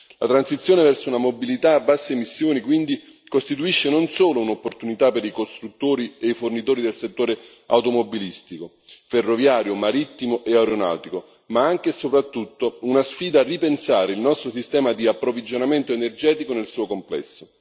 La transizione verso una mobilità a basse emissioni, quindi, costituisce non solo un'opportunità per i costruttori e i fornitori del settore automobilistico, ferroviario, marittimo e aeronautico, ma anche e soprattutto una sfida a ripensare il nostro sistema di approvvigionamento energetico nel suo complesso.